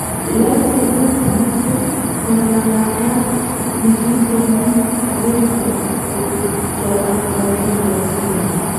Laitoriat noton koratat negit kenyit agenge kotupcho ak laitoriat Salman